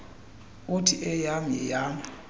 uthi eyam yeyam